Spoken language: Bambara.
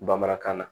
Bamanankan na